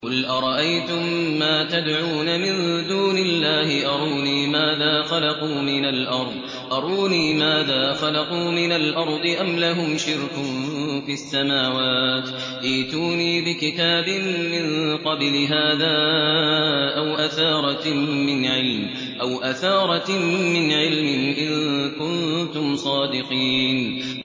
قُلْ أَرَأَيْتُم مَّا تَدْعُونَ مِن دُونِ اللَّهِ أَرُونِي مَاذَا خَلَقُوا مِنَ الْأَرْضِ أَمْ لَهُمْ شِرْكٌ فِي السَّمَاوَاتِ ۖ ائْتُونِي بِكِتَابٍ مِّن قَبْلِ هَٰذَا أَوْ أَثَارَةٍ مِّنْ عِلْمٍ إِن كُنتُمْ صَادِقِينَ